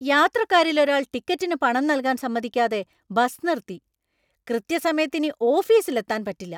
യാത്രക്കാരിൽ ഒരാൾ ടിക്കറ്റിന് പണം നൽകാൻ സമ്മതിക്കാതെ ബസ് നിർത്തി, കൃത്യസമയത്ത് ഇനി ഓഫീസിൽ എത്താന്‍ പറ്റില്ല.